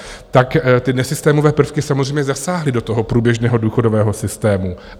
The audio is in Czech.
Tak ty nesystémové prvky samozřejmě zasáhly do toho průběžného důchodového systému.